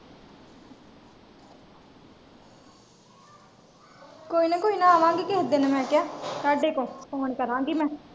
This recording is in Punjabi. ਕੋਇਨਾ ਕੋਇਨਾ ਅਵਣਗੀ ਕਿਹੇ ਦਿਨ ਮੈਂ ਕਯਾ ਅੱਡੇ ਤੋਂ phone ਕਰਾਂਗੀ ਮੈਂ।